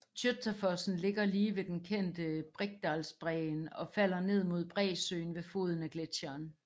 Tjøtafossen ligger lige ved den kendte Briksdalsbreen og falder ned mod bræsøen ved foden af gletcheren